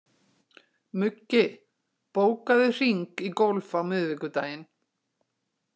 Muggi, bókaðu hring í golf á miðvikudaginn.